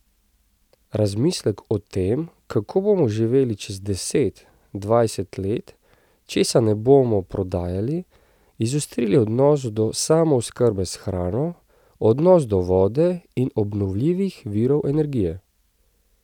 Razmislek o tem, kako bomo živeli čez deset, dvajset let, česa ne bomo prodajali, izostriti odnos do samooskrbe s hrano, odnos do vode in obnovljivih virov energije.